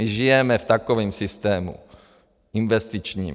My žijeme v takovém systému investičním.